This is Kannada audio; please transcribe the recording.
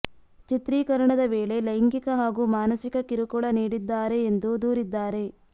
ಚಿತ್ರೀಕರಣದ ವೇಳೆ ಲೈಂಗಿಕ ಹಾಗೂ ಮಾನಸಿಕ ಕಿರುಕುಳ ನೀಡಿದ್ದಾರೆ ಎಂದು ದೂರಿದ್ದಾರೆ